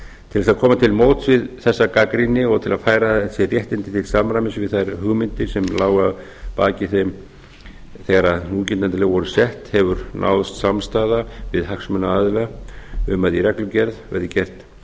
til að koma til móts við þessa gagnrýni og til að færa þessi réttindi til samræmis við þær hugmyndir sem lágu að baki þeim þegar núgildandi lög voru sett hefur náðst samstaða við hagsmunaaðila um að í reglugerð verði gert